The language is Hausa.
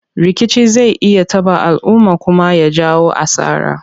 Rikici zai iya taɓa alumma kuma ya jawo asara.